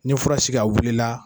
N ye fura sigi a wulila.